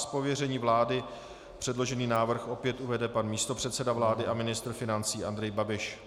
Z pověření vlády předložený návrh opět uvede pan místopředseda vlády a ministr financí Andrej Babiš.